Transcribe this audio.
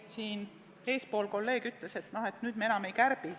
Enne üks kolleeg ütles, et nüüd me enam ei kärbi.